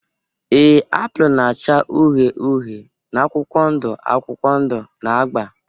ee, apụl na-acha uhie uhie na akwụkwọ ndụ akwụkwọ ndụ na agba.